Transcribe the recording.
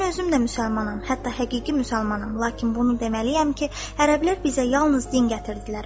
Mən özüm də müsəlmanam, hətta həqiqi müsəlmanam, lakin bunu deməliyəm ki, ərəblər bizə yalnız din gətirdilər.